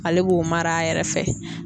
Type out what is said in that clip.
Ale b'o mara a yɛrɛ fɛ.